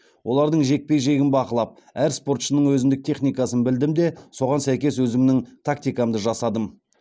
олардың жекпе жегін бақылап әр спортшының өзіндік техникасын білдім де соған сәйкес өзімнің тактикамды жасадым